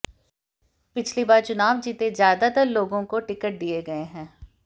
पिछली बार चुनाव जीते ज्यादातर लोगों को टिकट दिये गये हैं